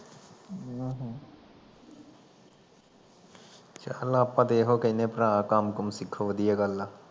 ਚਲ ਆਪਾਂ ਤੇ ਏਹੋ ਕਹਿਣੇ ਆ ਭਰਾ ਕੰਮ ਕੁਮ ਸਿੱਖੋ ਵਧੀਆ ਗੱਲ ਆ